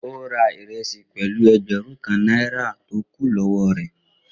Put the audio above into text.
On ra iresi pẹlu ẹẹgbẹrun kan naira to kun lọwọ rẹ.